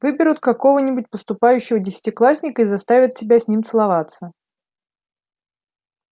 выберут какого нибудь поступающего десятиклассника и заставят тебя с ним целоваться